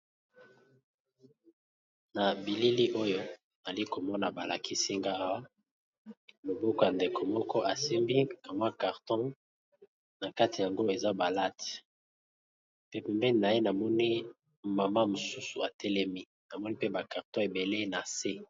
Na bilili oyo ali komona balakisi ngaawa moboku ya ndeko moko asimbi amwa carton na kati yango eza balate pepepeni na ye namoni mama mosusu atelemi namoni pe bacarton ebele na se.